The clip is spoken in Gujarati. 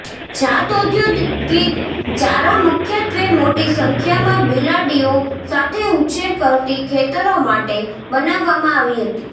જાત ઔદ્યોગિક ચારા મુખ્યત્વે મોટી સંખ્યામાં બિલાડીઓ સાથે ઉછેર કરતી ખેતરો માટે બનાવવામાં આવી હતી